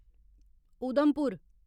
Udhampur